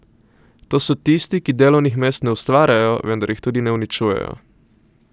To so tisti, ki delovnih mest ne ustvarjajo, vendar jih tudi ne uničujejo.